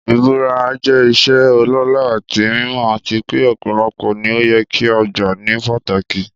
Ìbúra jẹ́ ìṣe ọlọ́lá àti mímọ́, àti pé ọ̀pọ̀lọpọ̀ ni ó yẹ kí a gbà ní pàtàkì.